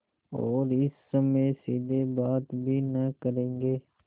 और इस समय सीधे बात भी न करेंगे